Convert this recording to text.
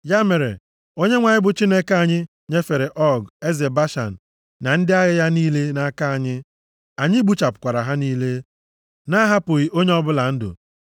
Ya mere, Onyenwe anyị bụ Chineke anyị nyefere Ọg, eze Bashan na ndị agha ya niile nʼaka anyị. Anyị gbuchapụkwara ha niile, na-ahapụghị onye ọbụla ndụ.